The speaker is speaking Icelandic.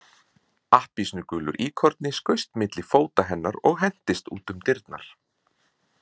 Appelsínugulur íkorni skaust milli fóta hennar og hentist út um dyrnar.